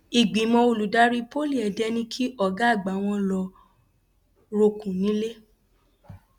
ìgbìmọ olùdarí poly èdè ní kí ọgá àgbà wọn lọ rọọkùn nílẹ